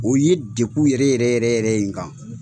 U ye degun yɛrɛ yɛrɛ yɛrɛ yɛrɛ n kan